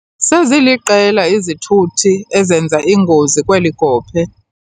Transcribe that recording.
Seziliqela izithuthi ezenza ingozi kweli gophe.